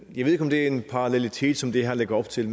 jeg ved ikke om det er en parallelitet som det her lægger op til